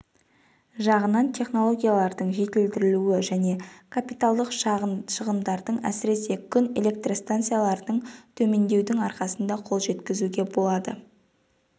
жағынан технологиялардың жетілдірілуі және капиталдық шығындардың әсіресе күн электр станцияларындағы төмендеудің арқасында қол жеткізуге болды